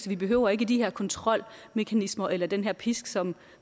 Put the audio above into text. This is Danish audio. vi behøver ikke de her kontrolmekanismer eller den her pisk som